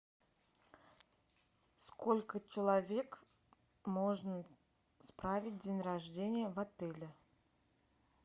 сколько человек можно справить день рождения в отеле